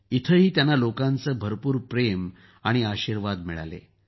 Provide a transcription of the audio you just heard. इथंही त्यांना लोकांचं भरपूर प्रेम आणि आशिर्वाद मिळाला